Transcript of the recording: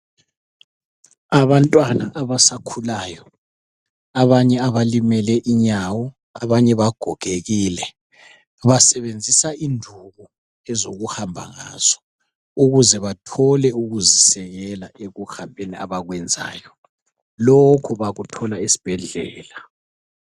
Abantwana abasakhulayo abanye abalimele inyawo abanye bagogekile basebenzisa induku ezokuhamba ngazo ukuze bathole ukuzisekela ekuhambeni abakwenzayo. Lokhu bakuthola esibhedlela.